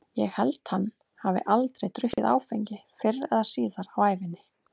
Ég held hann hafi aldrei drukkið áfengi fyrr eða síðar á ævinni.